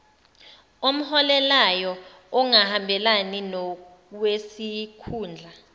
omholelayo ongahambelani nowesikhundla